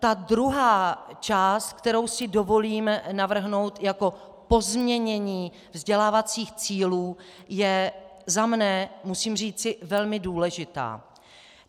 Ta druhá část, kterou si dovolím navrhnout jako pozměnění vzdělávacích cílů, je, za sebe musím říci, velmi důležitá.